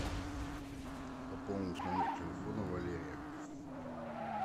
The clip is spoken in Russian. пополнить номер телефона валерия